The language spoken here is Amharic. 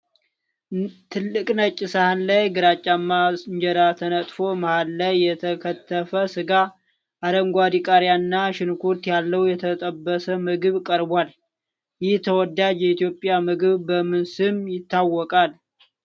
ትልቅ ነጭ ሳህን ላይ ግራጫማ እንጀራ ተነጥፎ፣ መሃል ላይ የተከተፈ ስጋ፣ አረንጓዴ ቃሪያ እና ሽንኩርት ያለው የተጠበሰ ምግብ ቀርቧል። ይህ ተወዳጅ የኢትዮጵያ ምግብ በምን ስም ይታወቃል?